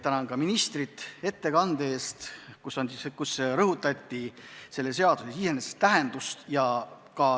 Tänan ministrit ettekande eest, kus rõhutati selle seaduse tähtsust.